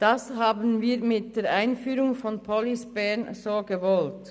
Das wurde mit der Einführung von Police Bern so gewollt.